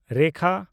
ᱨᱮᱠᱷᱟ